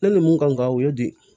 Ne ni mun kan ka o ye di